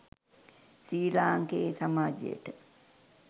ශ්‍රී ලාංකේය සමාජයට